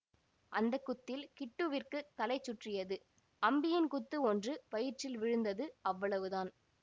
அந்த குத்தில் கிட்டுவிற்குத் தலை சுற்றியது அம்பியின் குத்து ஒன்று வயிற்றில் விழுந்தது அவ்வளவுதான்